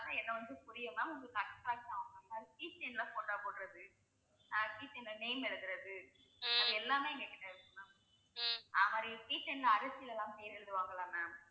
பார்த்தா என்னை வந்து புரியும் ma'am உங்களுக்கு key chain ல photo போடுறது. அஹ் key chain ல name எழுதுறது அது எல்லாமே எங்க கிட்ட இருக்கு ma'am அதேமாதிரி key chain ல அரிசில எல்லாம் பெயர் எழுதுவாங்கல்ல ma'am